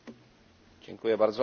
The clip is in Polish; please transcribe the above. Panie Przewodniczący!